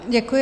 Děkuji.